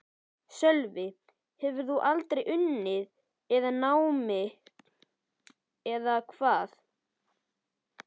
Sölvi: Hefur þú aldrei unnið með námi eða hvað?